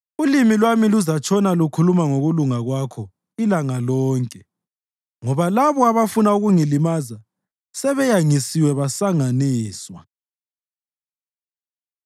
Ulimi lwami luzatshona lukhuluma ngokulunga kwakho ilanga lonke, ngoba labo abafuna ukungilimaza sebeyangisiwe basanganiswa.